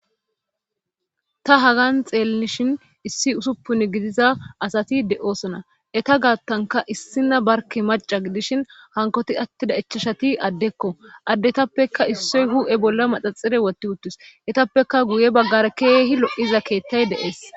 ta hagan xeellishin issi usuppun gidiza asati de7osona eta gaattanka issina barke maca gidishin hankoti attida ichashati addekko addetappekka issoy hu7e bolla maxaxire wotti uttus etappeka guye baggar keehi lo7iza keettay deees